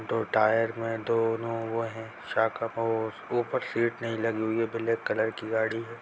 दो टायर में दोनों वो हैं और ऊपर सीट नहीं लगी हुई है। ब्लैक कलर की गाड़ी है।